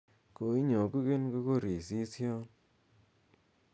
koinyogugen kokorisisyon